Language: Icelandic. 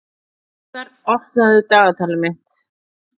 Urðar, opnaðu dagatalið mitt.